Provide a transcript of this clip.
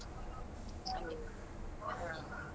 ಹಾಗೆ ಹ್ಮ್.